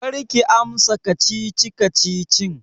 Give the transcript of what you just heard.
Karki amsa kacici-kacicin!